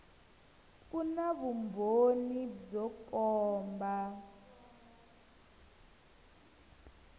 ku na vumbhoni byo komba